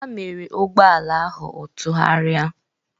Ha mere ụgbọala ahụ ọ tụgharịa.